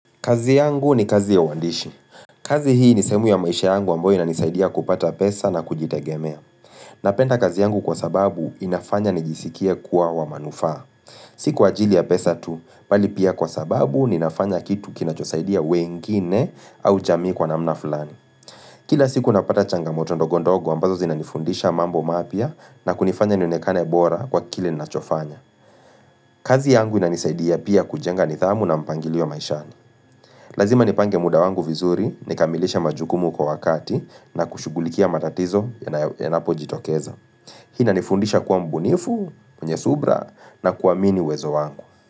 Kazi yangu ni kazi ya wandishi kazi hii ni sehemu ya maisha yangu amboyo na nisaidia kupata pesa na kujitegemea Napenda kazi yangu kwa sababu inafanya nijisikia kuwa wa manufaa siku ajili ya pesa tu, bali pia kwa sababu ninafanya kitu kinachosaidia wengine au jamii kwa namna fulani Kila siku napata changa motondogondogo ambazo zina nifundisha mambo mapya na kunifanya nionekane bora kwa kile nachofanya kazi yangu inanisaidia pia kujenga nidha amu na mpangili ya maishani Lazima nipange muda wangu vizuri, nikamilisha majukumu kwa wakati na kushugulikia matatizo yanapo jitokeza. Hina nifundisha kuwa mbunifu, kwenye subira na kuamini uwezo wangu.